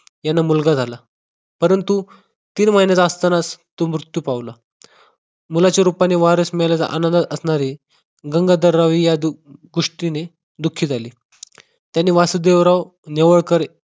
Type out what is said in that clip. यांना मुलगा झाला. परंतु तीन महिन्याचा असतानाच तो मृत्यू पावला. मुलाच्या रूपाने वारस मेल्याचा अनुभव असल्याने गंगाधर या दृष्टीने गोष्टीने दुःखी झाले. त्यांनी वासुदेवराव नेवाळकर